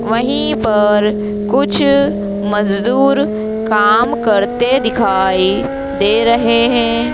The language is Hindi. वहीं पर कुछ मजदूर काम करते दिखाई दे रहे हैं।